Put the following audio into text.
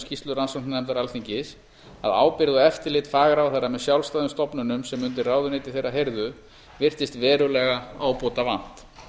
skýrslu rannsóknarnefndar alþingis að ábyrgð og eftirlit fagráðherra með sjálfstæðum stofnunum sem undir ráðuneyti þeirra heyrðu virtist verulega ábótavant